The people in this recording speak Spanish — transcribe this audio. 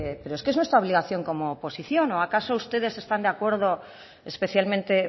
es que es nuestra obligación como oposición o acaso ustedes están de acuerdo especialmente